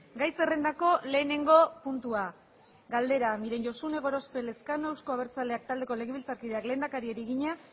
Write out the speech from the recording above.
gai zerrendako lehenengo puntua galdera miren josune gorospe elezkano euzko abertzaleak taldeko legebiltzarkideak lehendakariari egina